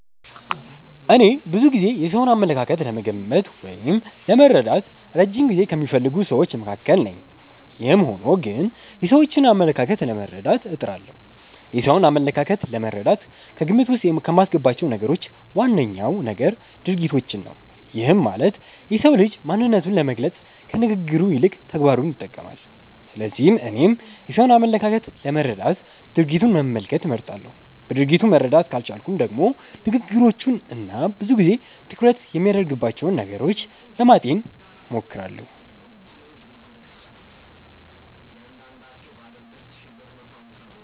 እኔ ብዙ ጊዜ የሰውን አመለካከት ለመገመት ወይም ለመረዳት እረጅም ጊዜ ከሚፈልጉ ስዎች መካከል ነኝ። ይህም ሆኖ ግን የሰዎችን አመለካከት ለመረዳት እጥራለሁ። የሰውን አመለካከት ለመረዳት ከግምት ዉስጥ ከማስገባቸው ነገሮች ዋነኛው ነገር ድርጊቶችን ነው። ይህም ማለት የሰው ልጅ ማንነቱን ለመግለፅ ከንግግሩ ይልቅ ተግባሩን ይጠቀማል። ስለዚህ እኔም የሰውን አመለካከት ለመረዳት ድርጊቱን መመልከት እመርጣለሁ። በድርጊቱ መረዳት ካልቻልኩም ደግሞ ንግግሮቹን እና ብዙ ጊዜ ትኩረት የሚያደርግባቸውን ነገሮች ለማጤን እሞክራለሁ።